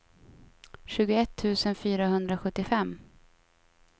tjugoett tusen fyrahundrasjuttiofem